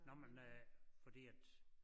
Nåh men øh fordi at